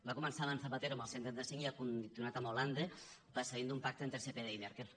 va començar amb zapatero amb el cent i trenta cinc i ha continuat amb hollande precedit d’un pacte entre spd i merkel